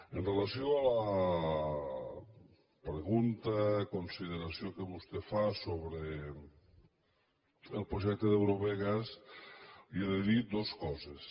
amb relació a la pregunta consideració que vostè fa sobre el projecte d’eurovegas li he de dir dos coses